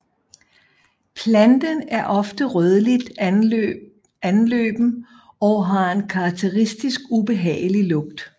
Planten er ofte rødligt anløben og har en karakteristisk ubehagelig lugt